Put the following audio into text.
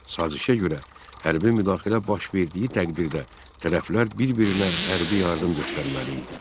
Sazişə görə hərbi müdaxilə baş verdiyi təqdirdə tərəflər bir-birinə hərbi yardım göstərməli idi.